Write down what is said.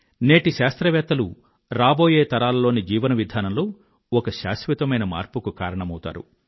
నేటి శాస్త్రవేత్తలు రాబోయే తరాలలోని జీవన విధానంలో ఒక శాశ్వత మార్పుకు కారణమౌతారు